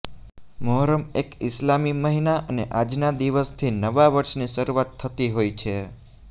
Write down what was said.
મોહરમ એક ઈસ્લામી મહિના અને આજના દિવસથી નવા વર્ષની શરૂઆત થતી હોય છે